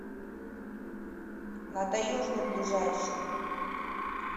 на таежной ближайший